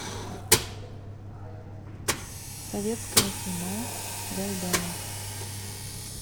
советское кино гайдая